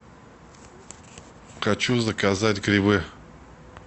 хочу заказать грибы